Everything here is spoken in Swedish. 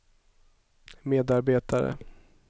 medarbetare